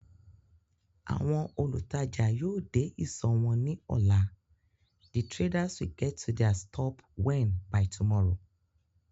Àwọn olùtajà yóò dé ìsọ̀ wọn ní ọ̀laThe traders will get to their stop when by tomorrow